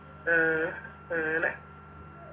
ഉം അങ്ങന